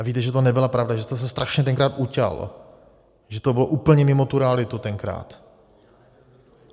A víte, že to nebyla pravda, že jste se strašně tenkrát uťal, že to bylo úplně mimo tu realitu tenkrát.